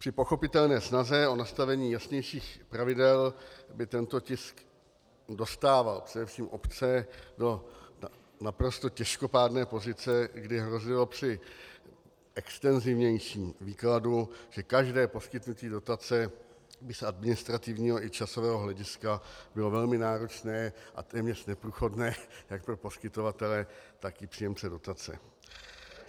Při pochopitelné snaze o nastavení jasnějších pravidel by tento tisk dostával především obce do naprosto těžkopádné pozice, kdy hrozilo při extenzivnějším výkladu, že každé poskytnutí dotace by z administrativního i časového hlediska bylo velmi náročné a téměř neprůchodné jak pro poskytovatele, tak i příjemce dotace.